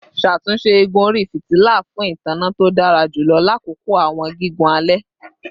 Ṣatunṣe igun ori fitila fun itanna to dara julọ lakoko awọn gigun alẹ